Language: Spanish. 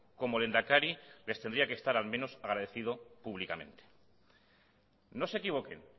como lehendakari les tendría que estar al menos agradecido públicamente no se equivoquen